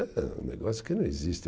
É um negócio que não existe.